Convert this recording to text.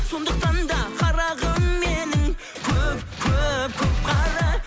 сондықтанда қарағым менің көп көп көп қара